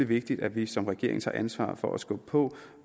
vigtigt at vi som regering tager ansvar for at skubbe på